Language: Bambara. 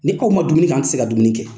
Ni aw ma dumuni kɛ, anw tɛ se ka dumuni kɛ!